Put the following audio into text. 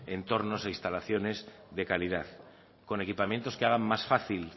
entornos o instalaciones de calidad con equipamientos que hagan más fácil